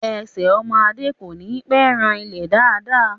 Ẹsẹ̀ ọmọ Adé kò ní pẹ́ ran ilẹ̀ dáàda